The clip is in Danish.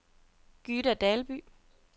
Gyda Dalby